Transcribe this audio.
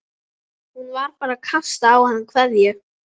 Hún var bara að kasta á hann kveðju.